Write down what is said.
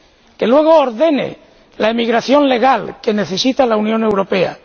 Que luego ordene la emigración legal que necesita la Unión Europea.